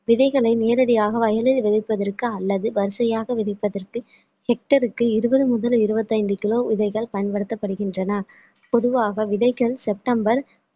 விதைகளை நேரடியாக வயலில் விதைப்பதற்கு அல்லது வரிசையாக விதைப்பதற்கு hectare க்கு இருபது முதல் இருபத்தி ஐந்து kilo விதைகள் பயன்படுத்தப்படுகின்றன பொதுவாக விதைகள் செப்டம்பர்